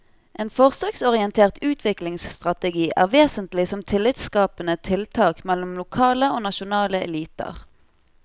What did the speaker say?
En forsøksorientert utviklingsstrategi er vesentlig som tillitsskapende tiltak mellom lokale og nasjonale eliter.